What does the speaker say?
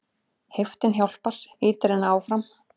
Heiftin hjálpar, ýtir henni áfram.